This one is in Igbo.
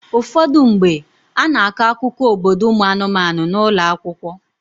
Ụfọdụ mgbe, a na-akọ akụkọ obodo ụmụ anụmanụ n'ụlọ akwụkwọ.